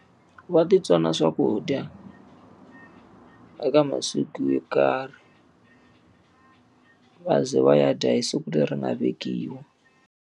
Va ti tsona swakudya eka masiku yo karhi va ze va ya dya hi siku leri nga vekiwa.